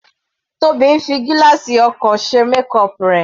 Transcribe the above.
Tobi ń fi gílààsì ọkọ̀ ṣe makeup rẹ̀.